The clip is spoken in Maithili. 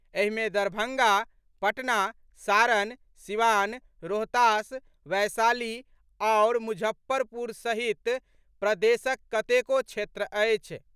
एहि मे दरभंगा, पटना, सारण, सीवान, रोहतास, वैशाली आओर मुजफ्फरपुर सहित प्रदेशक कतेको क्षेत्र अछि।